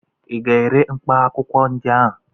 ị ga-ere mkpaakwụkwọ ndị a?